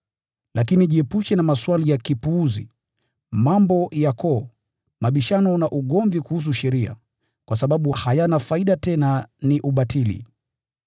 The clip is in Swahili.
Lakini jiepushe na maswali ya kipuzi, mambo ya koo, mabishano na ugomvi kuhusu sheria, kwa sababu hayana faida, tena ni ubatili.